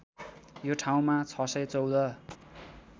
यो ठाउँमा ६१४